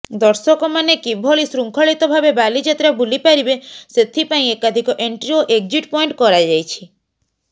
ଦର୍ଶକମାନେ କିଭଳି ଶୃଙ୍ଖଳିତ ଭାବେ ବାଲିଯାତ୍ରା ବୁଲି ପାରିବେ ସେଥିପାଇଁ ଏକାଧିକ ଏଣ୍ଟ୍ରି ଓ ଏକ୍ଜିଟ୍ ପଏଣ୍ଟ କରାଯାଇଛି